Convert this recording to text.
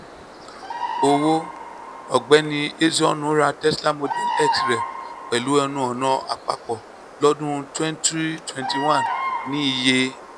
owó: ọ̀gbẹ́ni ezeonu ra tesla model x rẹ̀ pẹ̀lú ẹnu ọ̀nà àpapọ̀ lọ́dún twenty twenty one ní iye